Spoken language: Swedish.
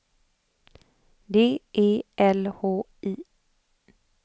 D E L H I